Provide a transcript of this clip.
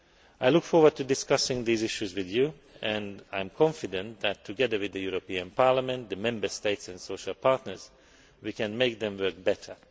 I look forward to discussing these issues with you and I am confident that together with the European Parliament, the Member States and the social partners, we can make them work better.